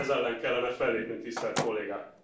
Ez ellen kellene fellépni, tisztelt Kollégák.